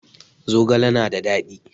Zogale na da dadi.